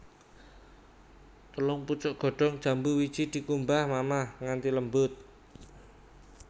Telung pucuk godhong jambu wiji dikumbah mamah nganthi lembut